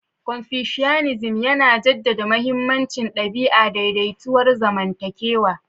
Confucianism, yana jaddada mahimmancin ɗabi'a, daidaituwar zamantakewa.